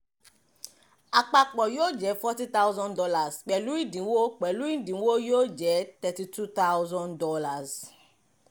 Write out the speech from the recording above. àpapọ̀ yóò jẹ́ forty thousand dollars; pẹ̀lú ìdínwó pẹ̀lú ìdínwó yóò jẹ́ thirty two thousand dollars